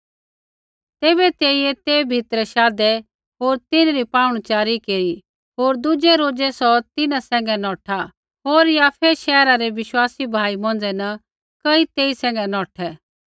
तैबै तेइयै ते भीतरै शाधै होर तिन्हरी पाहुणच़ारी केरी होर दुज़ै रोज़ै सौ तिन्हां सैंघै नौठा होर याफै शहरा रै विश्वासी भाई मौंझ़ै न कई तेई सैंघै नौठै